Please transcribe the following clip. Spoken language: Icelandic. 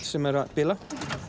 sem er að bila